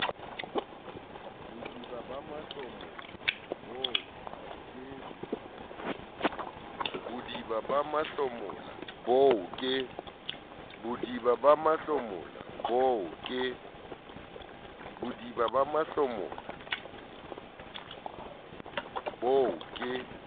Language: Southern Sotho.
bodiba ba mahlomola boo ke